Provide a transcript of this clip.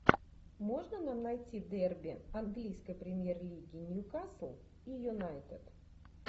можно нам найти дерби английской премьер лиги ньюкасл и юнайтед